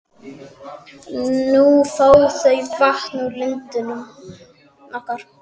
Nú fá þau vatn úr lindinni okkar.